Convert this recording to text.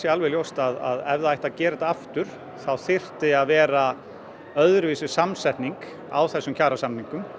alveg ljóst að ef það ætti að gera þetta aftur þá þyrfti að vera öðruvísi samsetning á þessum kjarasamningum